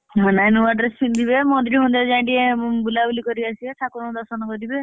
ହଁ ନାଇଁ ନୂଆ dress ପିନ୍ଧିବେ ମନ୍ଦିର ଫନ୍ଦିର ଯାଇ ଟିକେ ବୁଲାବୁଲି କରି ଆସିବେ ଠାକୁରଙ୍କୁ ଦର୍ଶନ କରିବେ।